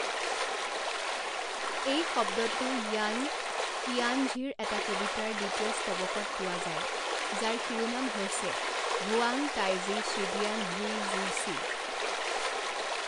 এই শব্দটো য়ান ইয়ানঝিৰ এটা কবিতাৰ দ্বিতীয় স্তৱকত পোৱা যায় যাৰ শিৰোনাম হৈছে হুৱাং টাইজি শ্বিডিয়ান হুই জুওছি।